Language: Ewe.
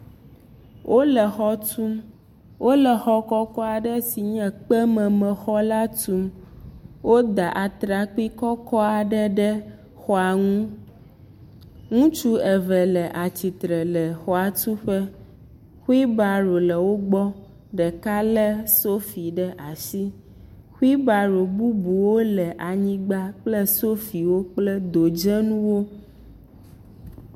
Wole xɔ tum. Wole xɔ kɔkɔ aɖe si nye kpememexɔ la tum. Woda atrakpi kɔkɔ aɖe ɖe xɔa nu. Ŋutsu eve le atsitre le xɔatuƒe. Xuibaɖo le wo gbɔ. Ɖeka le sofi ɖe asi. Xuibaɖo bubuwo le anyigba kple sofiwo kple dodzenuwo.